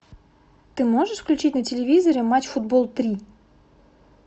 ты можешь включить на телевизоре матч футбол три